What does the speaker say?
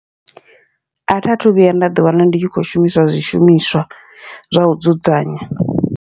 Atha thu vhuya nda ḓi wana ndi tshi kho shumisa zwishumiswa zwa u dzudzanya.